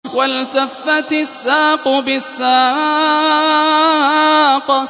وَالْتَفَّتِ السَّاقُ بِالسَّاقِ